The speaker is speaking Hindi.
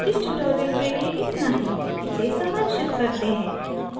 इस tutorial के लिए इतना ही इसे सारांशित करते हैं